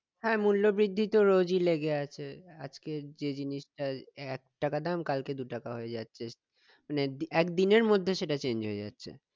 হ্যাঁ মূল্য বৃদ্ধি তো রোজই লেগে আছে আজকে যে জিনিসটার এক টাকা দাম কালকে দু টাকা হয়ে যাচ্ছে মানে এক ~এক দিনের মধ্যে সেটা চেঞ্জ হয়ে যাচ্ছে